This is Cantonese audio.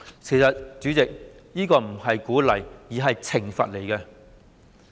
代理主席，其實這並非鼓勵，而是懲罰。